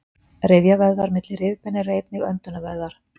Rifjavöðvar milli rifbeina eru einnig öndunarvöðvar.